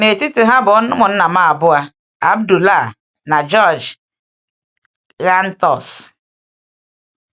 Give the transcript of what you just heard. N’etiti ha bụ ụmụnna m abụọ, Abdullah na George Ghantous.